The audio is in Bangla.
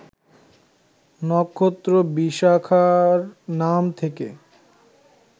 নক্ষত্র ‘বিশাখা’র নাম থেকে